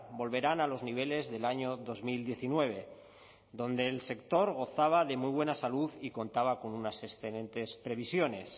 volverán a los niveles del año dos mil diecinueve donde el sector gozaba de muy buena salud y contaba con unas excelentes previsiones